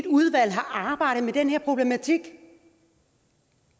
udvalg har arbejdet med den her problematik